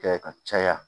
Kɛ ka caya